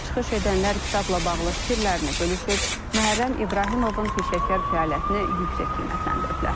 Çıxış edənlər kitabla bağlı fikirlərini bölüşüb, Məhərrəm İbrahimovun peşəkar fəaliyyətini yüksək qiymətləndiriblər.